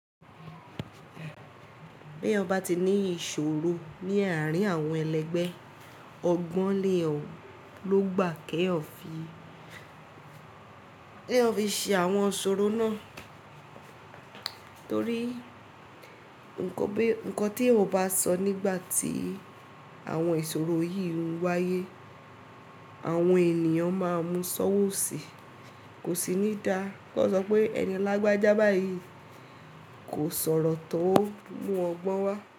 Bí eyan bá ti ní ìṣòro ní àárín àwọn ẹlẹgbẹ́, ọgbọ́n lè lọ gbà kí ẹ fi ṣe àwọn ṣòro náà. Torí nnkan tí ẹ ò bá sọ nígbà tí àwọn ìṣòro yìí ń wáyé, àwọn ènìyàn máa mu sọ́wọ́ sì. Kò sí ní dàá kí wọ́n sọ pé ẹni alágbájá báyìí kò sọ̀rọ̀ tọ̀ ọ mú ọgbọ́n wá.